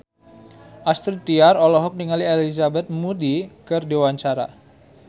Astrid Tiar olohok ningali Elizabeth Moody keur diwawancara